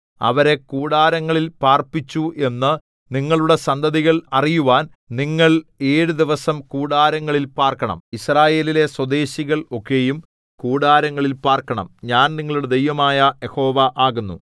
അവരെ കൂടാരങ്ങളിൽ പാർപ്പിച്ചു എന്നു നിങ്ങളുടെ സന്തതികൾ അറിയുവാൻ നിങ്ങൾ ഏഴു ദിവസം കൂടാരങ്ങളിൽ പാർക്കണം യിസ്രായേലിലെ സ്വദേശികൾ ഒക്കെയും കൂടാരങ്ങളിൽ പാർക്കണം ഞാൻ നിങ്ങളുടെ ദൈവമായ യഹോവ ആകുന്നു